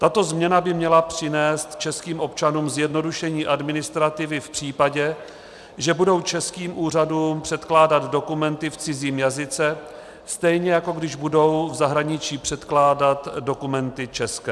Tato změna by měla přinést českým občanům zjednodušení administrativy v případě, že budou českým úřadům předkládat dokumenty v cizím jazyce, stejně jako když budou v zahraničí předkládat dokumenty české.